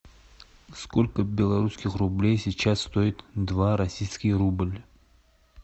сколько белорусских рублей сейчас стоит два российский рубль